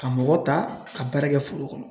Ka mɔgɔ ta ka baara kɛ foro kɔnɔ.